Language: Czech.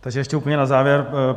Takže ještě úplně na závěr.